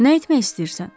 Nə etmək istəyirsən?